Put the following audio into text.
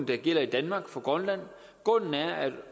der gælder i danmark for grønland grunden er at